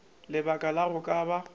lebaka la go ka ba